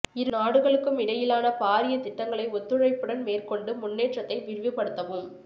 இரு நாடுகளுக்கும் இடையிலான பாரிய திட்டங்களை ஒத்துழைப்புடன் மேற்கோண்டு முன்னேற்றத்தை விரிவுபடுத்தவும்